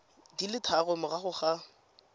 di le tharo morago ga